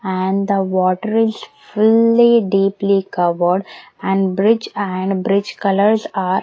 and the water is fully deeply covered and bridge and bridge colours are --